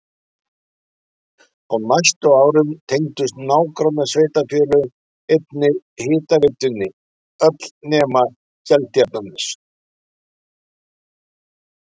Á næstu árum tengdust nágrannasveitarfélögin einnig hitaveitunni öll nema Seltjarnarnes.